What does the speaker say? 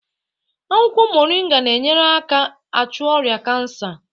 Akwụkwọ moringa na enyere aka achụ ọrịa kansa